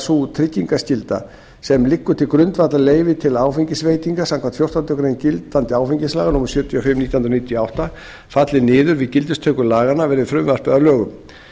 sú tryggingarskylda sem liggur til grundvallar leyfi til áfengisveitinga samkvæmt fjórtándu greinar gildandi áfengislaga númer sjötíu og fimm nítján hundruð níutíu og átta falli niður við gildistöku laganna verði frumvarpið að lögum